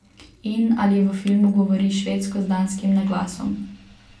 In ali v filmu govori švedsko z danskim naglasom?